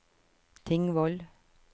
Tingvoll